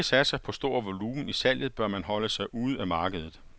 Hvis man ikke satser på stor volumen i salget, bør man holde sig ude af markedet.